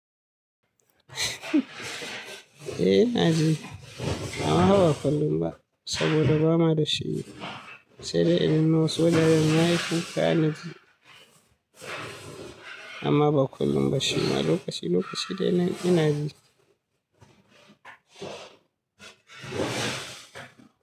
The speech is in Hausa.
Eh ina ji. Amma fa ba kullum ba saboda ba na da shi. Sai dai idan na so nayi wannan aikin. Amma ba kullum ba shi ma lokaci lokaci dai na ina ji.